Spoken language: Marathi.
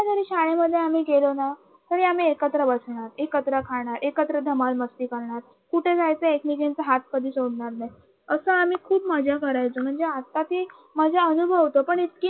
कधी शाळेमध्ये गेलो ना तरी आम्ही एकत्र खाणार एकत्र बसणारे एकत्र धमाल मस्ती करणार कुठे जायचे एकमेकींचा हात कधी सोडणार नाही आम्ही खूप मजा करायचो म्हणजे आता ते माझ अनुभव होत पण